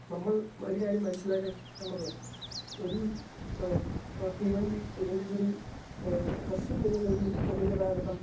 speaker 2 നമ്മൾ ഒരുകാര്യം മനസ്സിലാക്കേണ്ടത് ഒരൂ ഏഹ് പ തീവണ്ടീ, അല്ലെങ്കിൽ ഒരു ഏഹ് ബസ്സ് പോലുള്ളൊരു പൊതുഗതാഗതം